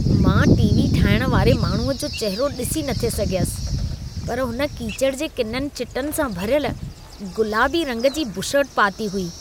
मां टी.वी. ठाहिण वारे माण्हूअ जो चहरो ॾिसी नथे सघियसि, पर हुन कीचड़ जे किननि चिटनि सां भरियल गुलाबी रंग जी बुशर्ट पाती हुई।